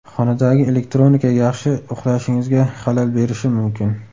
Xonadagi elektronika yaxshi uxlashingizga xalal berishi mumkin.